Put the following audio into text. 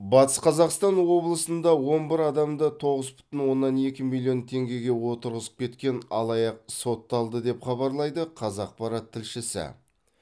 батыс қазақстан облысында он бір адамды тоғыз бүтін оннан екі миллион теңгеге отырғызып кеткен алаяқ сотталды деп хабарлайды қазақпарат тілшісі